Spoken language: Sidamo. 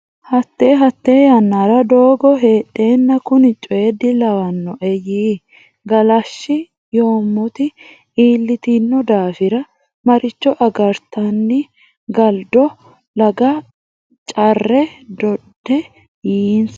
Hatte Hatte yannara doogo heedheenna kuni coy dilawannoe yii galashshi Yoommoti iillitino daafira maricho agartinanni galdo laga care dodde yiinsa !